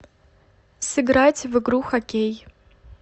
сыграть в игру хоккей